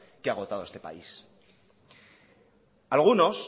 que ha agotado a este país algunos